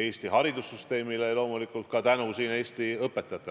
Eesti haridussüsteemile ja loomulikult tänu Eesti õpetajatele.